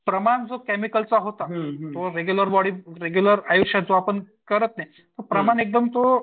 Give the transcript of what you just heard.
प्रमाण जो केमिकलचा होता. तो रेग्युलर बॉडी रेग्युलर आयुष्यात आपण करत नाही प्रमाण एकदम तो